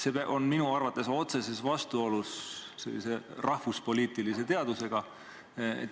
See on minu arvates otseses vastuolus rahvuspoliitilise teadusega.